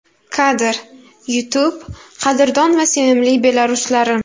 Kadr: YouTube Qadrdon va sevimli belaruslarim!